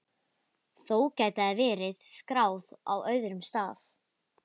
Þó gæti það verið skráð á öðrum stað.